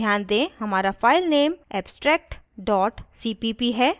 ध्यान दें हमारा file नेम abstract cpp है